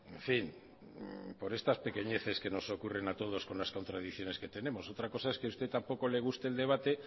en fin por estas pequeñeces que no ocurren a todos con las contradicciones que tenemos otra cosa es que a usted tampoco le guste el debate